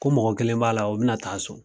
Ko mɔgɔ kelen b'a la o bɛna taa so.